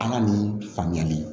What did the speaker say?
An ka nin faamuyali